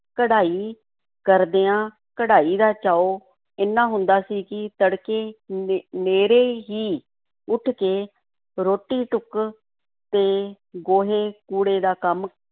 ਕਢਾਈ ਕਰਦਿਆਂ, ਕਢਾਈ ਦਾ ਚਾਉ ਏਨਾ ਹੁੰਦਾ ਸੀ ਕਿ ਤੜਕੇ ਨੇ ਨੇਰ੍ਹੇ ਹੀ ਉੱਠ ਕੇ ਰੋਟੀ-ਟੁੱਕ ਤੇ ਗੋਹੇ-ਕੂੜੇ ਦਾ ਕੰਮ